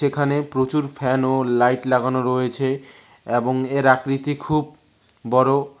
এখানে প্রচুর ফ্যান ও লাইট লাগানো রয়েছে এবং এর আকৃতি খুব বড়।